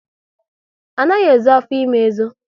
Anaghi ezo afọ ime ezo